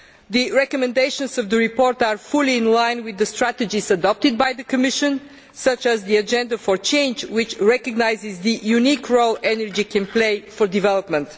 The recommendations of the report are fully in line with the strategies adopted by the Commission, such as the Agenda for Change, which recognises the unique role energy can play with regard to development.